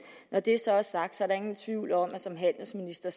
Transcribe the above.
når det så er sagt er der ingen tvivl om at som handelsminister